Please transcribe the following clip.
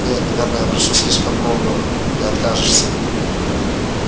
не наверное я прошу слишком многого ты откажешься